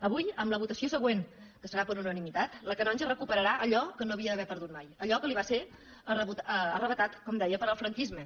avui amb la votació següent que serà per unanimitat la canonja recuperarà allò que no havia d’haver perdut mai allò que li va ser arrabassat com deia pel franquisme